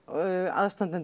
aðstandendur